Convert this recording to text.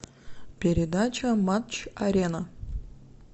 передача матч арена